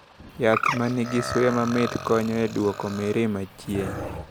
Yath ma nigi suya mamit konyo e duoko mirima chien.